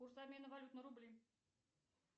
курс обмена валют на рубли